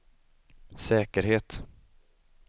säkerhet